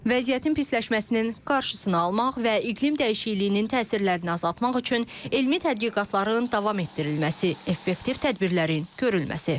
Vəziyyətin pisləşməsinin qarşısını almaq və iqlim dəyişikliyinin təsirlərini azaltmaq üçün elmi tədqiqatların davam etdirilməsi, effektiv tədbirlərin görülməsi.